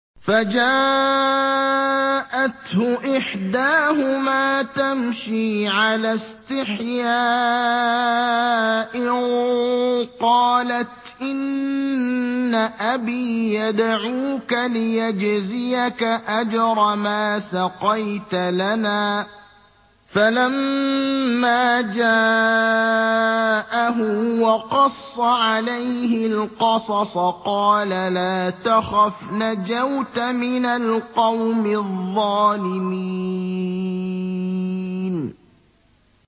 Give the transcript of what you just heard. فَجَاءَتْهُ إِحْدَاهُمَا تَمْشِي عَلَى اسْتِحْيَاءٍ قَالَتْ إِنَّ أَبِي يَدْعُوكَ لِيَجْزِيَكَ أَجْرَ مَا سَقَيْتَ لَنَا ۚ فَلَمَّا جَاءَهُ وَقَصَّ عَلَيْهِ الْقَصَصَ قَالَ لَا تَخَفْ ۖ نَجَوْتَ مِنَ الْقَوْمِ الظَّالِمِينَ